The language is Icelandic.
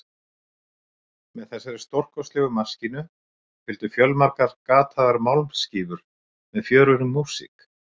Með þessari stórkostlegu maskínu fylgdu fjölmargar gataðar málmskífur með fjörugri músík.